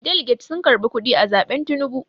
daliget sun karɓi kuɗi a zaɓen Tinubu